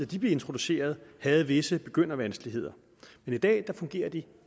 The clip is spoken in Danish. de blev introduceret havde visse begyndervanskeligheder men i dag fungerer de